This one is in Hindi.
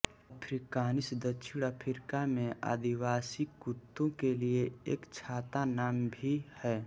अफ्रिकानिस दक्षिण अफ्रीका में आदिवासी कुत्तों के लिए एक छाता नाम भी है